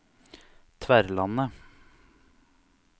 Tverlandet